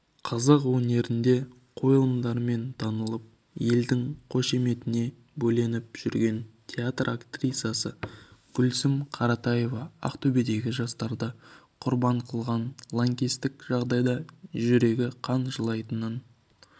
қазақ өнерінде қойылымдарымен танылып елдің қошеметіне бөленіп жүрген театр актрисасы гүлсім қаратаева ақтөбедегі жастарды құрбан қылған лаңкестік жағдайға жүрегі қан жылайтынын